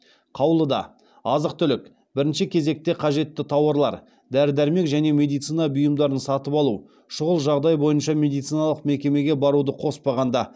қаулыда азық түлік бірінші кезекте қажетті тауарлар дәрі дәрмек және медицина бұйымдарын сатып алу шұғыл жағдай бойынша медициналық мекемеге баруды қоспағанда